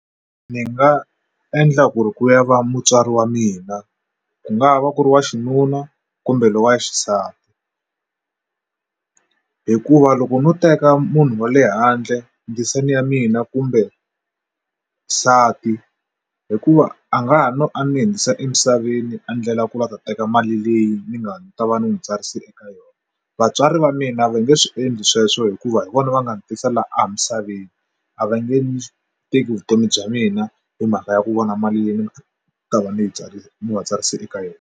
Ndzi nga endla ku ri ku ya va mutswari wa mina ku nga va ku ri wa xinuna kumbe lowa wa xisati hikuva loko no teka munhu wa le handle ndzisane ya mina kumbe nsati hikuva a nga ha no a ni hundzisa emisaveni a ndlela ku va ta teka mali leyi ni nga ta va ni n'wi tsarise eka yona vatswari va mina va nge swi endli sweswo hikuva hi vona va nga ni tisela a misaveni a va nge teki vutomi bya mina hi mhaka ya ku vona mali yi ta va ni tsali va tsarise eka yona.